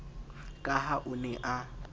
ka ha o ne a